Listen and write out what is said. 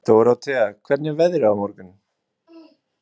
Dórótea, hvernig er veðrið á morgun?